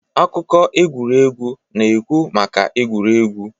akụkọ egwuregwu na-ekwu maka egwuregwu